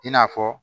I n'a fɔ